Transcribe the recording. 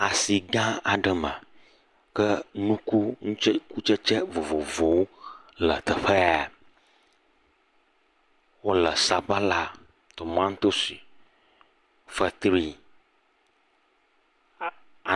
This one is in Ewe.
Asigã aɖe me. ke nuku, nutse, kutsetse vovovowo le teƒe ya. Wole sabala, tomatosi, fetri. Aa.